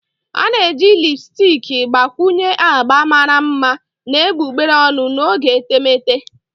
A na-eji lipusticki gbakwunye agba mara mma na egbugbere ọnụ n'oge etemeete.